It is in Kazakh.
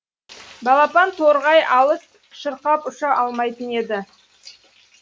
балапан торғай алыс шырқап ұша алмайтын еді